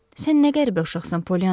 Sən nə qəribə uşaqsan, Polyanna!